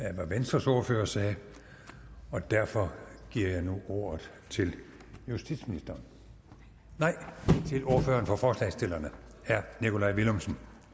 af hvad venstres ordfører sagde og derfor giver jeg nu ordet til justitsministeren nej til ordføreren for forslagsstillerne herre nikolaj villumsen